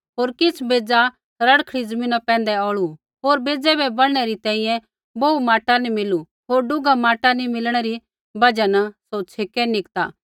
होर किछ़ बेज़ा रड़खड़ी ज़मीना पैंधै औल़ै होर बेज़ै बै बढ़नै री तैंईंयैं बोहू माटा नी मिलू होर डूघा माटा नी मिलणै री बजहा न सौ छ़ेकै निकता